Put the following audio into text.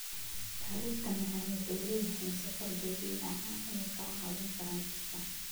Bariishta macaan waxay leeyihiin sokor dabiici ah inay ka caawiyaan jirka.